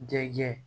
Denkɛ